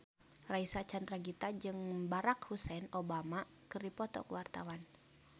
Reysa Chandragitta jeung Barack Hussein Obama keur dipoto ku wartawan